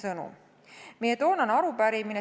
Nüüd meie toonasest arupärimisest.